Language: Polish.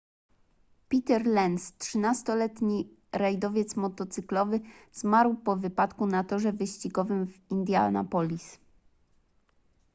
peter lenz 13-letni rajdowiec motocyklowy zmarł po wypadku na torze wyścigowym w indianapolis